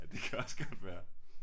Ja det kan også godt være